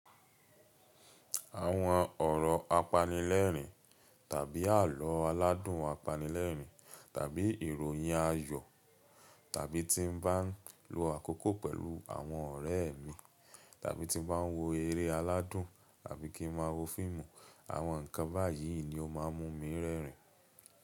Àwọn ọ̀rọ̀ apanilẹ́rìn-ín tàbí àlọ́ aládùn apanilẹ́rìn-ín tàbí ìròyìn ayọ̀ tàbí tí n bá ń lo àkókò pẹ̀lú àwọn ọ̀rẹ́ mi tàbí tí n bá ń wo eré aládùn tàbí kí n máa wo fíìmù, àwọn nǹkan báyìí ni ó máa ń mú mi rẹ́rìn-ín.